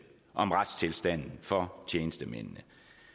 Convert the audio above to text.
om retstilstanden for tjenestemændene